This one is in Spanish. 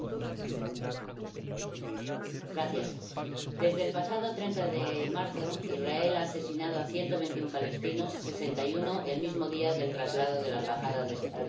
Señora presidenta, desde el pasado 30 de marzo Israel ha asesinado a ciento veintiuno palestinos —sesenta y uno el mismo día del traslado de la embajada de los Estados Unidos—.